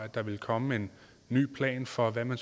at der ville komme en ny plan for hvad man